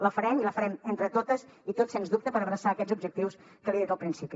la farem i la farem entre totes i tots sens dubte per abraçar aquests objectius que li he dit al principi